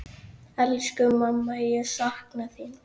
Elsku mamma, ég sakna þín.